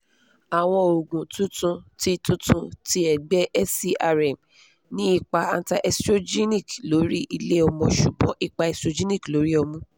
awọn oogun tuntun ti tuntun ti ẹgbẹ serm ni ipa anti-estrogenic lori ile-ọmọ ṣugbọn ipa estrogenic lori ọmu